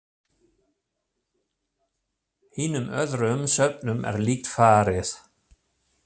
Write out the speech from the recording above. Hinum öðrum söfnum er líkt farið.